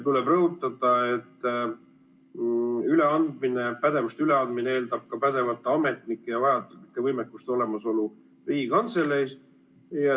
Tuleb rõhutada, et pädevuste üleandmine eeldab ka pädevate ametnike ja vajalike võimekuste olemasolu Riigikantseleis.